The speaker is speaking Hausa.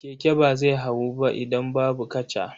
Keke ba zai hawu ba idan babu kaca.